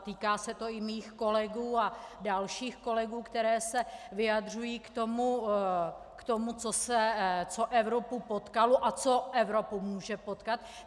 A týká se to i mých kolegů a dalších kolegů, kteří se vyjadřují k tomu, co Evropu potkalo a co Evropu může potkat.